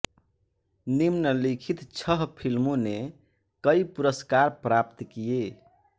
निम्नलिखित छह फिल्मों ने कई पुरस्कार प्राप्त किये